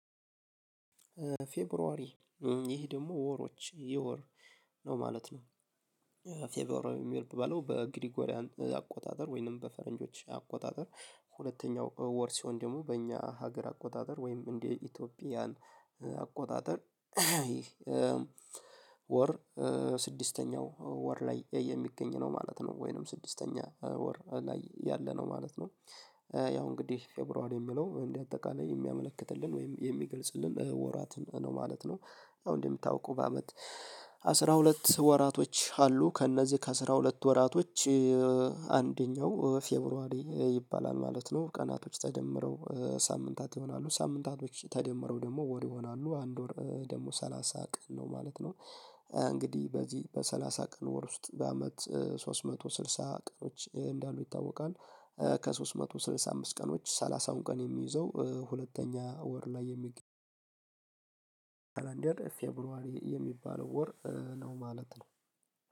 ፌብሩዋሪ ይህ ደግሞ ወሮች የወር ነው ማለት ነው። ፌብሩዋሪ የሚባለው በግሪኮሪያን አቆጣጠር ወይንም በፈረንጆች አቆጣጠር ሁለተኛው ወር ሲሆን ደግሞ በእኛ ሀገር አቆጣጠር ወይም እንደ ኢትዮጵያን አቆጣጠር ወር ስድስተኛው ወር ላይ የሚገኝ ነው ማለት ነው ወይንም ስድስተኛ ወር ላይ ያለ ነው ማለት ነው። ያው እንግዲህ ፌብሩዋር የሚለው እንደ አጠቃላይ የሚያመለክትልን ወይም የሚገልጽልን ወራት ነው ማለት ነው። አሁን እንደምታውቁ በአመት አስራ ሁለት ወራቶች አሉ ከእነዚህ ከአስራ ሁለት ወራቶች አንደኛው ፌብሩዋሪ ይባላል ማለት ነው። ቀናቶች ተደምረው ሳምንታት ይሆናሉ ሳምንታቶች ተደምረው ደግሞ ወር ይሆናሉ አንድ ወር ደግሞ ሰላሳ ቀን ነው ማለት ነው። እንግዲህ በዚህ በሰላሳ ቀን ወር ውስጥ በአመት ሶስት መቶ ስልሳ ቀኖች እንዳሉ ይታወቃል። ከሶስት መቶ ስልሳ አምስት ቀኖች ሰላሳውን ቀን የሚይዘው ሁለተኛ ወር ላይ የሚ ከላንደር ፌብሩዋሪ የሚባለው ወር ነው ማለት ነው